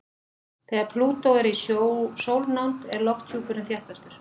Þegar Plútó er í sólnánd er lofthjúpurinn þéttastur.